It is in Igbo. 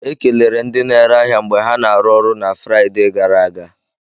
E kelere ndị na-ere ahịa mgbe ha n'aru ọrụ na Fraịde gara aga.